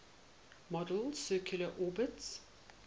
model's circular orbits